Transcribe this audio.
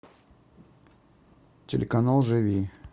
телеканал живи